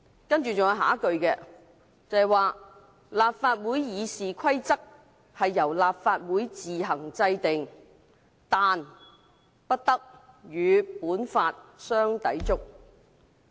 "還有下一句是："立法會議事規則由立法會自行制定，但不得與本法相抵觸。